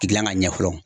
Gilan ka ɲɛ fɔlɔ